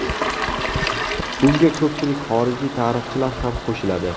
Bunga ko‘pchilik xorijiy tarixchilar ham qo‘shiladi.